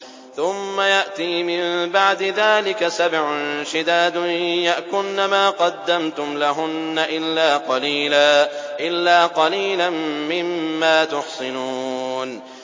ثُمَّ يَأْتِي مِن بَعْدِ ذَٰلِكَ سَبْعٌ شِدَادٌ يَأْكُلْنَ مَا قَدَّمْتُمْ لَهُنَّ إِلَّا قَلِيلًا مِّمَّا تُحْصِنُونَ